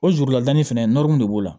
O jurulaani fɛnɛ nɔrɔ min b'o la